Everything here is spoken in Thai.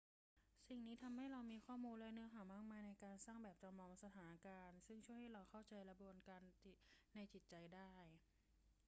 สิ่งนี้ทำให้เรามีข้อมูลและเนื้อหามากมายในการสร้างแบบจำลองสถานการณ์ซึ่งช่วยให้เราเข้าใจกระบวนการในจิตใจได้